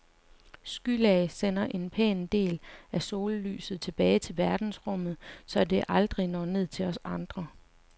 Skylag sender en pæn del af sollyset tilbage til verdensrummet, så det aldrig når ned til os andre.